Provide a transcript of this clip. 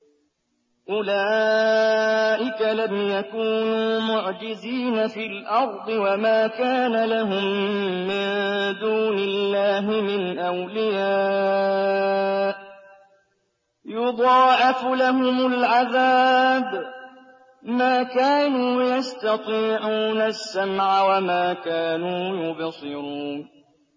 أُولَٰئِكَ لَمْ يَكُونُوا مُعْجِزِينَ فِي الْأَرْضِ وَمَا كَانَ لَهُم مِّن دُونِ اللَّهِ مِنْ أَوْلِيَاءَ ۘ يُضَاعَفُ لَهُمُ الْعَذَابُ ۚ مَا كَانُوا يَسْتَطِيعُونَ السَّمْعَ وَمَا كَانُوا يُبْصِرُونَ